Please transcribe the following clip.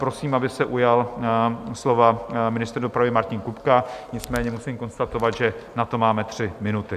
Prosím, aby se ujal slova ministr dopravy Martin Kupka, nicméně musím konstatovat, že na to máme tři minuty.